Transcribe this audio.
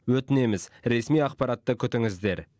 өтінеміз ресми ақпаратты күтіңіздер